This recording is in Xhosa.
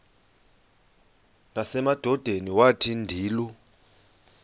nasemadodeni wathi ndilu